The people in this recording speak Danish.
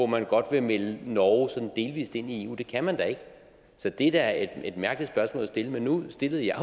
man godt vil melde norge sådan delvis ind i eu det kan man da ikke så det er da et mærkeligt spørgsmål at stille men nu stillede jeg